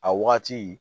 A wagati